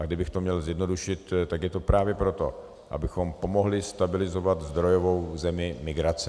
A kdybych to měl zjednodušit, tak je to právě proto, abychom pomohli stabilizovat zdrojovou zemi migrace.